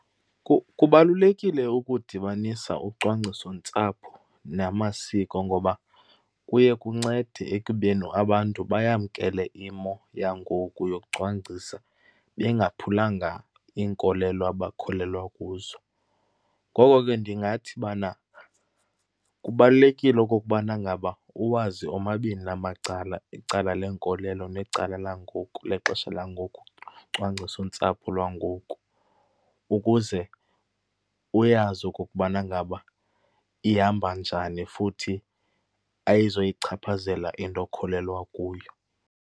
Kubalulekile ukudibanisa ucwangcisontsapho namasiko ngoba kuye kuncede ekubeni abantu bayamkele imo yangoku yokucwangcisa bengaphulanga iinkolelo abakholelwa kuzo. Ngoko ke ndingathi bana kubalulekile okokubana ngaba uwazi omabini la macala, icala lenkolelo necala langoku, lexesha langoku, ucwangcisontsapho lwangoku ukuze uyazi okokubana ngaba ihamba njani, futhi ayizoyichaphazela into okholelwa kuyo.